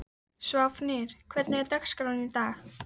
Sváfnir, hvernig er dagskráin í dag?